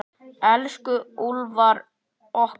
Elsku Úlfar okkar.